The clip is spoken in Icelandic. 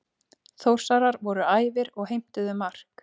Þórsarar voru æfir og heimtuðu mark.